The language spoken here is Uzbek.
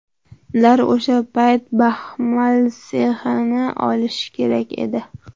Ular o‘sha payt baxmal sexini olishi kerak edi.